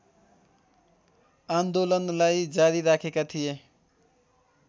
आन्दोलनलाई जारी राखेका थिए